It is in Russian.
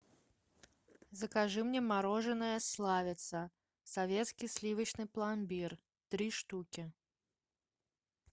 закажи мне мороженое славица советский сливочный пломбир три штуки